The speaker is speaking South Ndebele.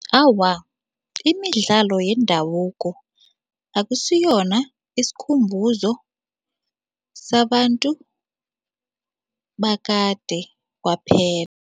Awa, imidlalo yendabuko akusiyona isikhumbuzo sabantu bakade kwaphela.